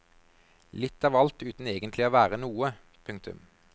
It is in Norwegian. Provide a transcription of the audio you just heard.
Litt av alt uten egentlig å være noe. punktum